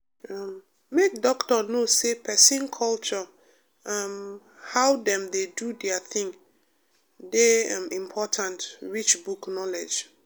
um make doctor know say person culture um and how dem dey do their thing dey um important reach book knowledge.